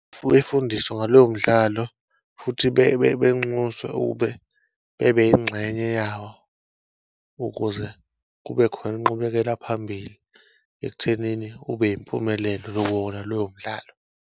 Efundiswe ngalowo mdlalo futhi benxuswe ukube bebe ingxenye yawo ukuze kube khona inqubekela phambili, ekuthenini ube impumelelo wona lowo mdlalo.